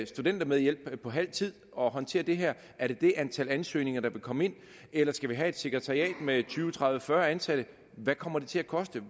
studentermedhjælp på halv tid og håndtere det her er det det antal ansøgninger der vil komme ind eller skal vi have et sekretariat med tyve tredive fyrre ansatte hvad kommer det til at koste